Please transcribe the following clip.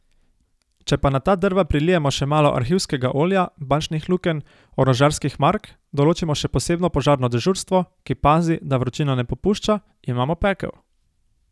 Če pa na ta drva prilijemo še malo arhivskega olja, bančnih lukenj, orožarskih mark, določimo še posebno požarno dežurstvo, ki pazi, da vročina ne popušča, imamo pekel.